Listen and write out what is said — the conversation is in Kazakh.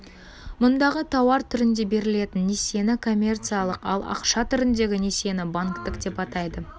мұндағы тауар түрінде берілетін несиені коммерциялық ал ақша түріндегі несиені банктік деп атайды